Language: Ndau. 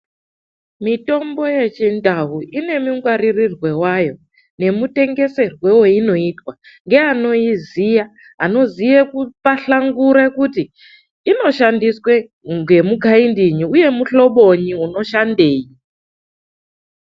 Mitombo yechindau ine mungwaririrwe vayo nemutengeserwe veinoitwa ngeanoiziva. Anoziye kupahlangure kuti inoshandiswe ngemukaindiyi uye muhloboi unoshandenyi.